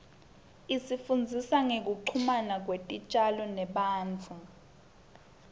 isifundzisa ngekuchumana kwetitjalo nebantfu